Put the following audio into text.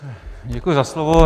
Děkuji za slovo.